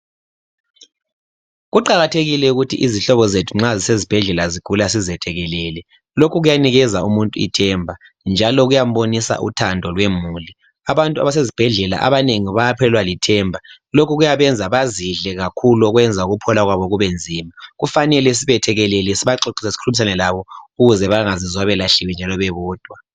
Kuqakathekile ukuthi izihlobo zethu nxa zisezibhedlela zigula sizethekelele lokhu kuyanikeza umuntu ithemba njalo kuyambonisa uthando lwemuli abantu abase zibhedlela abanengi bayaphelelwa lithemba lokhu kuyabenza bezidle kakhulu okwenza ukuphila kwabo kube nzima kufanele sibethekelele sibaxoxise sikhulumisane labo ukuze bengazizwa bebodwa.